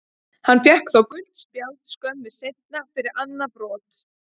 Hann fékk þó gult spjald skömmu seinna fyrir annað brot.